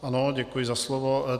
Ano, děkuji za slovo.